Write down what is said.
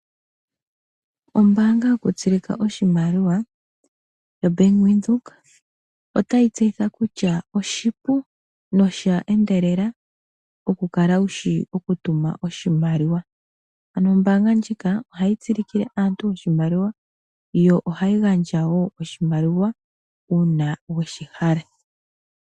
Ombaanga yoku tsilika oshimaliwa yaVenduka, otayi tseyitha kutya oshipu nosha endelela oku kala wushi oku tuma oshimaliwa. Ano ombaanga ndjika ohayi tsilikile aantu oshimaliwa yo ohayi gandja wo oshimaliwa uuna weshi hala.